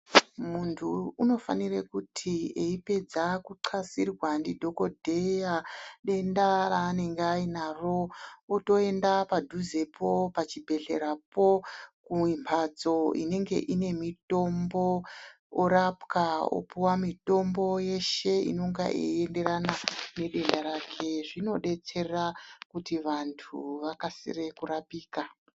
Muntu unofanire kuti eipedza kuxasirwa ndidhokodheya denda raanenge ainaro, otoenda padhuzepo pachibhedhlerapo kumbatso inenge ine mitombo. Orapwa opuwa mitombo yeshe inenge yeienderana nedenda rake. Zvinodetsera kuti vantu vakasire kurapika.